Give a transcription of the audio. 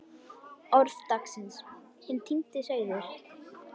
ORÐ DAGSINS Hinn týndi sauður